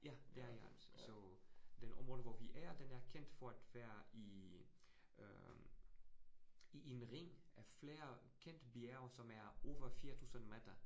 Ja det er i Alps, så den område, hvor vi er, den er kendt for at være i øh i en ring af flere kendte bjerge, som er over 4000 meter